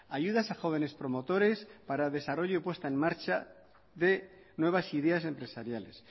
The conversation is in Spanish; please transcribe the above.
ayudas a jóvenes promotores para desarrollo y puesta en marcha de nuevas ideas empresariales